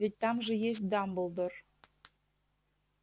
ведь там же есть дамблдор